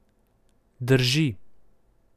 Drži.